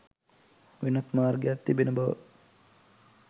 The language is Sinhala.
වෙනත් මාර්ගයක් තිබෙන බව